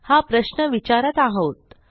हा प्रश्न विचारत आहोत